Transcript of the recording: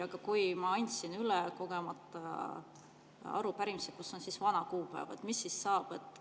Aga kui ma andsin kogemata üle arupärimise, kus on vana kuupäeva, mis siis saab?